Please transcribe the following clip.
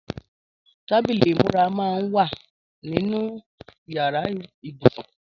Tàbílí imúrà mà n wà ninú iyàrá ibúsún